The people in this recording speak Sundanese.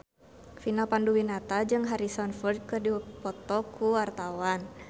Vina Panduwinata jeung Harrison Ford keur dipoto ku wartawan